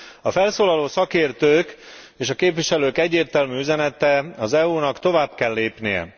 A felszólaló szakértők és a képviselők egyértelmű üzenete az EU nak tovább kell lépnie.